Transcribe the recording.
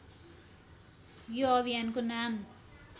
यो अभियानको नाम